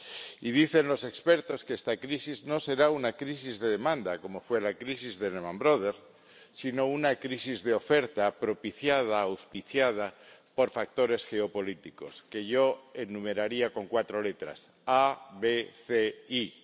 Y dicen los expertos que esta crisis no será una crisis de demanda, como fue la crisis de Lehman Brothers, sino una crisis de oferta propiciada, auspiciada por factores geopolíticos, que yo enumeraría con cuatro letras A, B, C, I